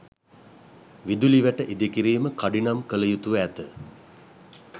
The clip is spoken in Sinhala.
විදුලි වැට ඉදිකිරීම කඩිනම් කළ යුතුව ඇත.